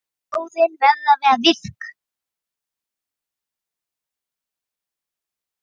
Þjóðin verður að vera virk.